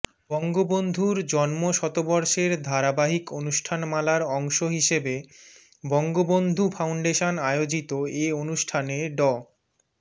বঙ্গবন্ধুর জন্ম শতবর্ষের ধারাবাহিক অনুষ্ঠানমালার অংশ হিসেবে বঙ্গবন্ধু ফাউন্ডেশন আয়োজিত এ অনুষ্ঠানে ড